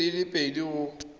dibeke di le pedi go